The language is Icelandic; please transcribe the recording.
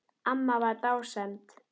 Amma var dásemd.